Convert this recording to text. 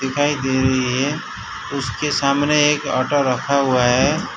दिखाई दे रही है उसके सामने एक ऑटो रखा हुआ है।